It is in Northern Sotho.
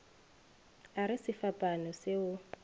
a re sefapano se o